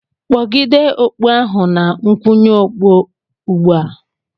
kpọgide okpu ahụ na nkwụnye okpu ugbu a!